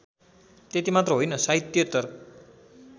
त्यतिमात्र होइन साहित्येतर